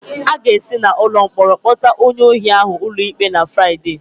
A ga-esi n'ụlọ mkpọrọ kpọta onye ohi ahụ ụlọikpe na Fraịde.